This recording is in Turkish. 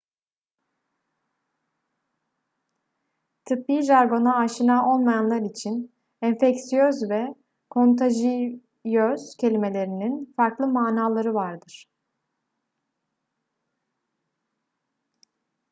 tıbbi jargona aşina olmayanlar için enfeksiyöz ve kontajiyöz kelimelerinin farklı manaları vardır